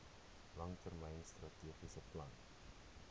langtermyn strategiese plan